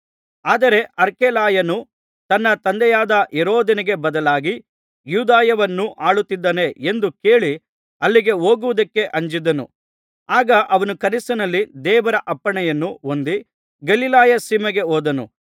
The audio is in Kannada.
ಆದರೆ ಅರ್ಖೆಲಾಯನು ತನ್ನ ತಂದೆಯಾದ ಹೆರೋದನಿಗೆ ಬದಲಾಗಿ ಯೂದಾಯವನ್ನು ಆಳುತ್ತಿದ್ದಾನೆ ಎಂದು ಕೇಳಿ ಅಲ್ಲಿಗೆ ಹೋಗುವುದಕ್ಕೆ ಅಂಜಿದನು ಆಗ ಅವನು ಕನಸಿನಲ್ಲಿ ದೇವರ ಅಪ್ಪಣೆಯನ್ನು ಹೊಂದಿ ಗಲಿಲಾಯ ಸೀಮೆಗೆ ಹೋದನು